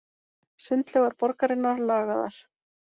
Sundlaugar borgarinnar lagaðar